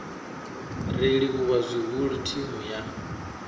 ri livhuwa zwihulu thimu ya